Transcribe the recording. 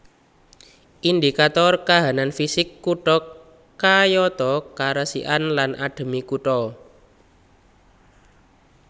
Indikator kahanan fisik kutha kayata karesikan lan adheme kutha